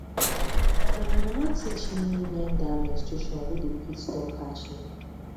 na my mama teach me when that menstration wey dey quick stop catch me